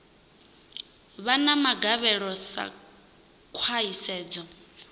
vha na magavhelo sa khwahisedzo